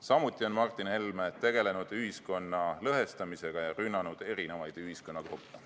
Samuti on Martin Helme tegelenud ühiskonna lõhestamisega ja rünnanud erinevaid ühiskonnagruppe.